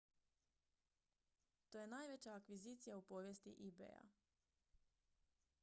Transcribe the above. to je najveća akvizicija u povijesti ebaya